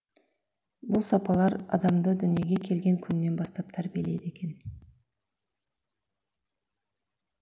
бұл сапалар адамды дүниеге келген күннен бастап тәрбиелейді екен